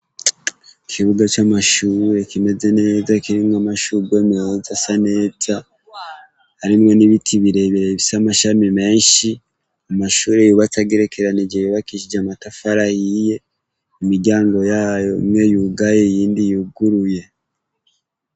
Ikibuga c'amashuye kimeze neza kirenga amashuguwe meza sa neta arimwo n'ibiti birebereye ivisa amashami menshi amashuri yubatse agerekeranije yubakishije amatafara yiye imiryango yayo umwe yugaye yindi yuguruye.